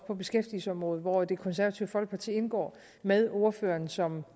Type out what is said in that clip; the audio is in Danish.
på beskæftigelsesområdet hvor det konservative folkeparti indgår med ordføreren som